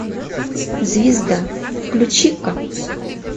звезда включи ка